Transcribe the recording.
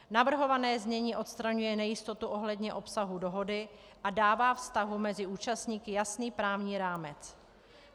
Navrhované znění odstraňuje nejistotu ohledně obsahu dohody a dává vztahu mezi účastníky jasný právní rámec.